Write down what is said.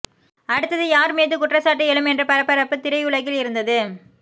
அடுத்தது யார் மீது குற்றச்சாட்டு எழும் என்ற பரபரப்பு திரையுலகில் இருந்தது